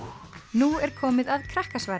nú er komið að